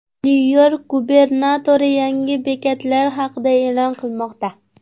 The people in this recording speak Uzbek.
Nyu-York gubernatori yangi bekatlar haqida e’lon qilmoqda.